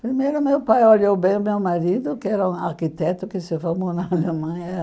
Primeiro, meu pai olhou bem o meu marido, que era um arquiteto que se formou na Alemanha.